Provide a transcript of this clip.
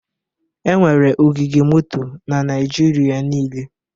Enwere ogige moto na Naịjirịa niile